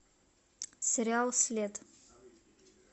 сериал след